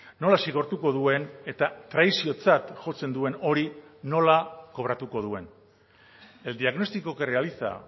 nola zigortuko duen eta traiziotzat jotzen duen hori nola kobratuko duen el diagnóstico que realiza